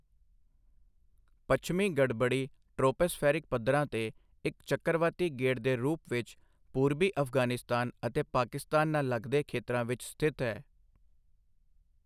ਪੱਛਮੀ ਗੜਬੜੀ ਟ੍ਰੌਪੋਸਫੈਰਿਕ ਪੱਧਰਾਂ ਤੇ ਇੱਕ ਚੱਕਰਵਾਤੀ ਗੇੜ ਦੇ ਰੂਪ ਵਿੱਚ ਪੂਰਬੀ ਅਫ਼ਗ਼ਾਨਿਸਤਾਨ ਅਤੇ ਪਾਕਿਸਤਾਨ ਨਾਲ ਲੱਗਦੇ ਖੇਤਰਾਂ ਵਿੱਚ ਸਥਿਤ ਹੈ।